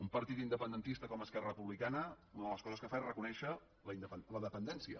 un partit independentista com esquerra republicana una de les coses que fa és reconèixer la dependència